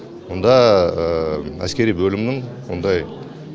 онда әскери бөлімнің ондай